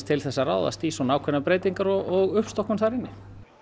til þess að ráðast í ákveðnar breytingar og uppstokkun þar inni